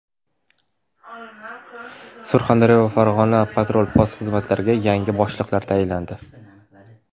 Surxondaryo va Farg‘ona patrul-post xizmatlariga yangi boshliqlar tayinlandi.